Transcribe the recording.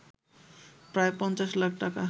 প্রায় ৫০ লাখ টাকা